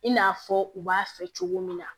I n'a fɔ u b'a fɛ cogo min na